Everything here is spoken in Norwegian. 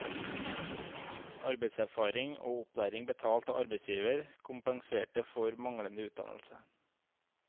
Arbeidserfaring og opplæring betalt av arbeidsgiver kompenserte for manglende utdannelse.